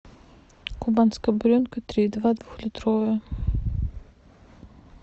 кубанская буренка три и два двухлитровая